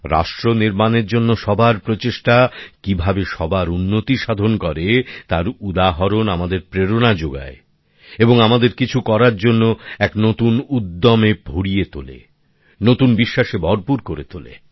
রাষ্ট্র নির্মাণের জন্য সবার প্রচেষ্টা কিভাবে সবার উন্নতি সাধন করে তার উদাহরণ আমাদের প্রেরনা যোগায় এবং কিছু করার জন্য এক নতুন উদ্যমে ভরে তোলে নতুন বিশ্বাসে ভরপুর করে তোলে